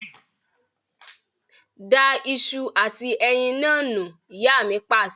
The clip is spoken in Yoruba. Da ìṣù àti ẹyin naa nù! Ìyá mi Pàṣẹ.